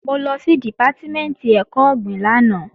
Mo lọ sí Dìpátímẹ̀ntì ẹ̀kọ́ ọ̀gbìn lánàá